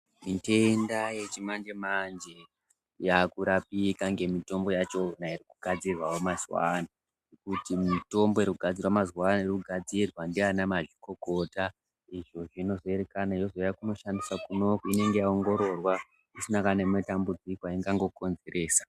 Mitenda yechimanje-manje yakurapika ngemitombo yachona yakugadzirwawo mazuwaano, kuti mitombo inogadzirwa mazuvaano irikugadzirwa ndiana mazvikokota izvo zvinozoerekana yozouya koshandiswa kunoku inenge yaongororwa isina kana nematambudziko ainga konzeresa.